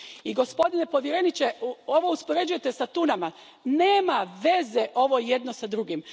I, gospodine povjereniče, ovo uspoređujete s tunama ovo nema veze jedno s drugim.